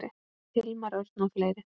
Hilmar Örn og fleiri.